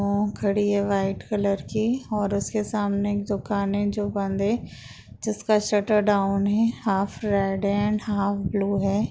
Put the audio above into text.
ओ धड़ी है white colour की और उसके सामने दुकान हैं जो बंद हैं जिसका शटर डाउन है हाफ हाफ ब्लू है।